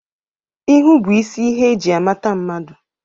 Ihu bụ isi ihe e ji amata mmadu